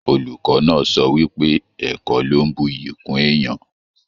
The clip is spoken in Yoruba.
Olùkọ náà sọ wípé ẹ̀kọ́ lọ n bùyí kún èèyàn.